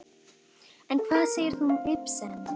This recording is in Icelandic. En hvað segir þú um Ibsen?